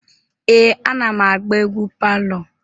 Ee, anam agba egwu palọ.